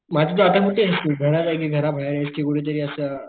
म आता तू कुठेस घरात कि घरा बाहेर आहेस कि कुठं तरी असं,